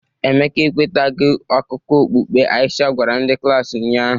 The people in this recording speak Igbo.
Emeka ekwetaghị akụkọ okpukpe Aisha gwara ndị klaasị ụnyahụ